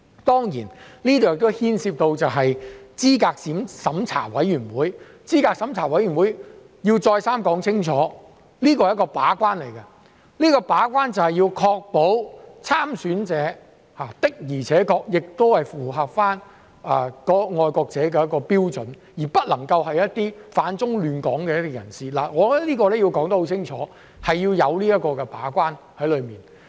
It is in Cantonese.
當然，這亦牽涉到候選人資格審查委員會，我要再三說清楚，資審會是一個把關，要確保參選者的確符合"愛國者"的標準，而不能是反中亂港的人士，我認為這一點要說清楚，我們需要這個把關。